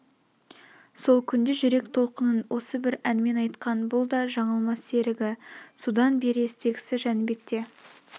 сол күнде жүрек толқынын осы бір әнмен айтқан бұл да жаңылмас серігі содан бер естегсі жәнбекте